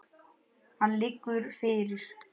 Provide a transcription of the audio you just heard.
Hann liggur fyrir.